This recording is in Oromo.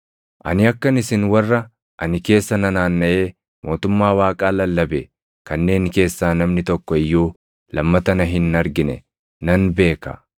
“Ani akka isin warra ani keessa nanaannaʼee mootummaa Waaqaa lallabe kanneen keessaa namni tokko iyyuu lammata na hin argine nan beeka.